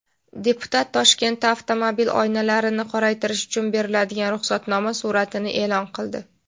Deputat Toshkentda avtomobil oynalarini qoraytirish uchun beriladigan ruxsatnoma suratini e’lon qildi.